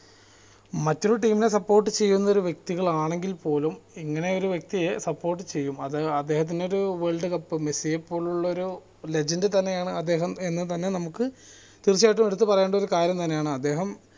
മറ്റൊരു team നെ support ചെയുന്ന ഒരു വ്യക്തികൾ ആണെങ്കിൽ പോലും ഇങ്ങനെ ഒരു വ്യ ക്തിയെ support ചെയ്യും അത് അദ്ദേഹത്തിന് ഒരു world cup മെസ്സിയെ പോലുള്ള ഒരു legend തന്നെയാണ് അദ്ദേഹം എന്നും തന്നെ നമുക്ക് തീർച്ചയായിട്ടും എടുത്ത് പറയണ്ട ഒരു കാര്യം തന്നെ ആണ് അദ്ദേഹം